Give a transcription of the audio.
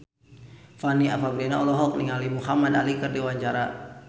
Fanny Fabriana olohok ningali Muhamad Ali keur diwawancara